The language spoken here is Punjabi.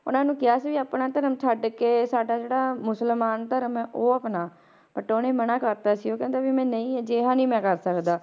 ਉਹਨਾਂ ਨੂੰ ਕਿਹਾ ਸੀ ਵੀ ਆਪਣਾ ਧਰਮ ਛੱਡ ਕੇ ਸਾਡਾ ਜਿਹੜਾ ਮੁਸਲਮਾਨ ਧਰਮ ਹੈ ਉਹ ਅਪਣਾ but ਉਹਨੇ ਮਨਾ ਕਰ ਦਿੱਤਾ ਸੀ ਉਹ ਕਹਿੰਦੇ ਵੀ ਮੈਂ ਨਹੀਂ ਅਜਿਹਾ ਨੀ ਮੈਂ ਕਰ ਸਕਦਾ,